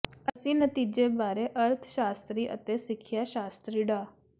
ਇਸ ਨਤੀਜੇ ਬਾਰੇ ਅਰਥ ਸ਼ਾਸਤਰੀ ਅਤੇ ਸਿੱਖਿਆ ਸ਼ਾਸਤਰੀ ਡਾ